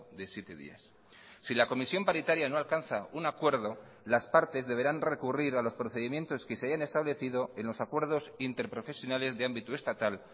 de siete días si la comisión paritaria no alcanza un acuerdo las partes deberán recurrir a los procedimientos que se hayan establecido en los acuerdos interprofesionales de ámbito estatal